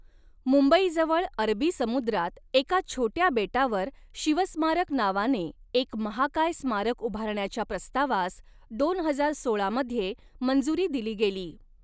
मुंबईजवळ अरबी समुद्रात एका छोट्या बेटावर शिवस्मारक नावाने एक महाकाय स्मारक उभारण्याच्या प्रस्तावास दोन हजार सोळा मध्ये मंजुरी दिली गेली.